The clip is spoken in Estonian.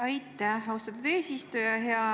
Aitäh, austatud eesistuja!